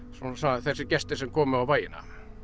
þessir gestir sem komu á bæina